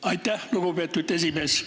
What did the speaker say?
Aitäh, lugupeetud esimees!